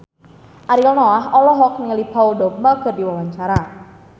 Ariel Noah olohok ningali Paul Dogba keur diwawancara